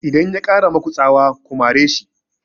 Idan ya ƙara maku tsawa ku mare shi!